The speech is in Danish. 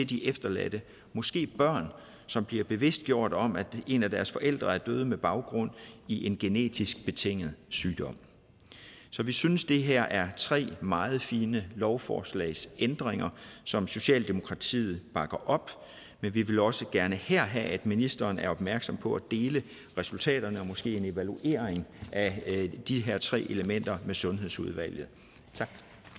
de efterladte måske børn som bliver bevidstgjort om at en af deres forældre er død med baggrund i en genetisk betinget sygdom så vi synes det her er tre meget fine lovforslagsændringer som socialdemokratiet bakker op men vi vil også gerne her have at ministeren er opmærksom på at dele resultaterne og måske lave en evaluering af de her tre elementer med sundhedsudvalget tak